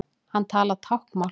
Hann talar táknmál.